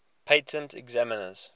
patent examiners